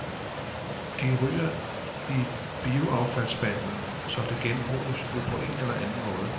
De ryger i bioaffaldsspanden, så det genbruges jo på en eller anden måde.